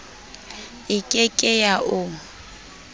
e ke ke ya o